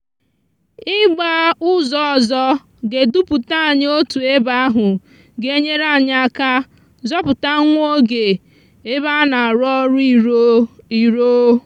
igba úzò òzò ga eduputanyi otu ebe ahú g'enyere anyi aka zòpúta nwa oge ebe ana arú òrú iro. iro.